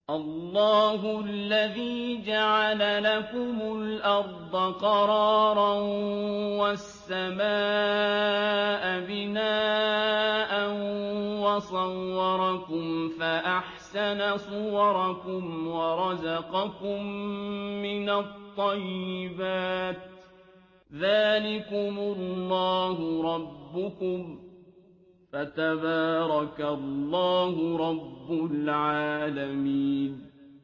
اللَّهُ الَّذِي جَعَلَ لَكُمُ الْأَرْضَ قَرَارًا وَالسَّمَاءَ بِنَاءً وَصَوَّرَكُمْ فَأَحْسَنَ صُوَرَكُمْ وَرَزَقَكُم مِّنَ الطَّيِّبَاتِ ۚ ذَٰلِكُمُ اللَّهُ رَبُّكُمْ ۖ فَتَبَارَكَ اللَّهُ رَبُّ الْعَالَمِينَ